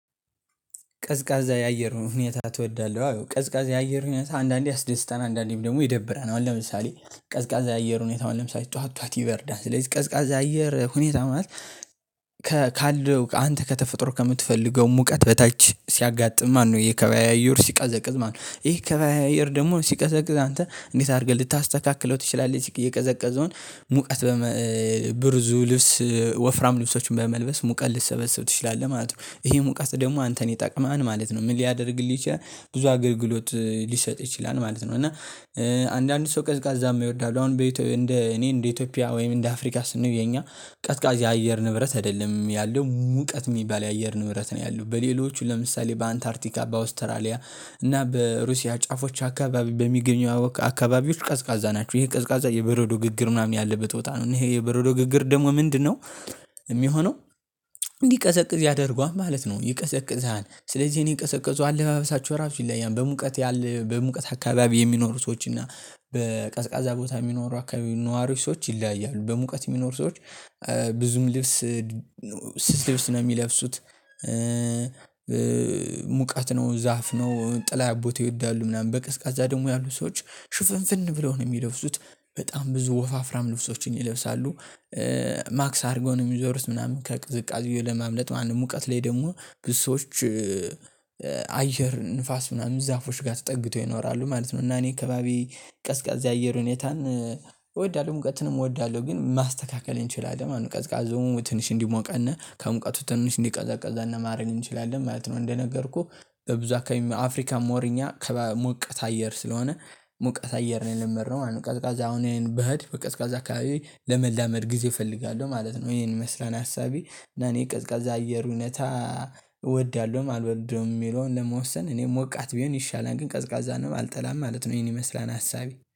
ቀዝቃዛ የአየር ሁኔታ ትወዳለህ? አዎ ቀዝቃዛ የአየር ሁኔታ አንዳንዴ ያስደስታል አንዳንዴም ደግሞ ይደብራል። አሁን ለምሳሌ ቀዝቃዛ የአየር ሁኔታው አሁን ለምሳሌ ጠዋት ጠዋት ይበርዳል። ስለዚህ ቀዝቃዛ አየር ሁኔታውን ማለት ካለው አንተ ከተፈጥሮ ከምትፈልገው ሙቀት በታች ሲያጋጥም ማነው የከባቢ አየሩ ሲቀዘቅዝ ማነው ይሄ የከባቢ አየሩ ደግሞ ሲቀዘቅዝ አንተ እንዴት አድርገህ ልታስተካክለው ትችላለህ የቀዘቀዘውን ሙቀት ብዙ ልብስ ወፍራም ልብሶችን በመልበስ ሙቀት ልትሰበስብ ትችላለህ ማለት ነው። ይሄ ሙቀት ደግሞ አንተን ይጠቅመሀል ማለት ነው። ምን ሊያደርግልህ ይችላል ብዙ አገልግሎት ሊሰጥ ይችላል ማለት ነው። እና አንዳንድ ሰው ቀዝቃዛ ማይወዱ አሉ አሁን እኔ እንደ ኢትዮጵያ ወይም እንደ አፍሪካ ስናየው የኛ የአየር ንብረት አይደለም። ያለው ሙቀት የሚባል የአየር ንብረት ነው ያለው በሌሎቹ ለምሳሌ በአንታርቲካ በአውስትራሊያ እና በሩሲያ ጫፎች አካባቢ በሚገኘው አካባቢዎች ቀዝቃዛ ናቸው። ይሄ ቀዝቃዛ የበረዶ ግግር ምናምን ያለበት ቦታ ነው። እኔ የበረዶ ግግር ደግሞ ምንድነው የሚሆነው እንዲቀዘቅዝ ያደርገዋል ማለት ነው። ይቀዘቅዝሀል ስለዚህ እኔ የቀዘቀዙ አለባበሳቸው ራሱ ይለያያል በሙቀት ያለ በሙቀት አካባቢ የሚኖሩ ሰዎች እና በቀዝቃዛ ቦታ የሚኖሩ አካባቢ ነዋሪዎች ሰዎች ይለያያሉ። በሙቀት የሚኖሩ ሰዎች ብዙም ልብስ ስስ ልብስ ነው የሚለብሱት። ሙቀት ነው ዛፍ ነው ጥላ ቦታ ይወዳሉ ምናምን በቀዝቃዛ ደግሞ ያሉ ሰዎች ሽፍንፍን ብለው ነው የሚለብሱት በጣም ብዙ ወፋፍራም ነፍሶችን ይለብሳሉ። ማክስ አድርጎ ነው የሚዞሩት ምናምን ከቅዝቃዜው ለማምለጥ ማለት ነው። ሙቀት ላይ ደግሞ ብዙ ሰዎች አየር ንፋስ ምናምን ዛፎች ጋር ተጠግቶ ይኖራሉ ማለት ነው። እና እኔ አካባቢ ቀዝቃዛ የአየር ሁኔታን እወዳለሁ ሙቀትንም እወዳለሁ። ግን ማስተካከል እንችላለን ቀዝቃዛውን ትንሽ እንዲሞቀነ ከሙቀቱ ትንሽ እንዲቀዘቅዘነ ማድረግ እንችላለን ማለት ነው። እንደነገርኩህ በብዙ አካባቢ አፍሪካ ሞር እኛ ሞቅታ አየር ስለሆነ ሞቅታ አየር ነው የለመድነው ማለት ነው። ቀዝቃዛ አሁን እኔ ብሄድ በቀዝቃዛ አካባቢ ለመላመድ ጊዜ እፈልጋለሁ ማለት ነው። ይሄን ይመስላል ሀሳቤ እኔ ቀዝቃዛ አየሩ እውነት እወዳለሁም አልወደውም የሚለውን ለመወሰን እኔም ሞቃት ቢሆን ይሻላል ግን ቀዝቃዛ ነው አልጠላም ማለት ነው። ይሄን ይመስላል ሀሳቢ